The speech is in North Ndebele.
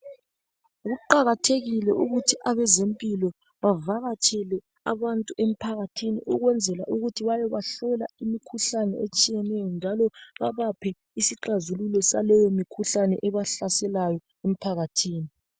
Kuqakathekile ukuthi abezempilo bavakatshele abantu emphakathini ukwenzela ukuthi bayebahlola imkhuhlane etshiyeneyo njalo babaphe isixazululo saleyo mkhuhlane ebahlaselayo emphakathini